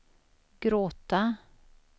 gråta